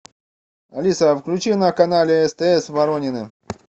алиса включи на канале стс воронины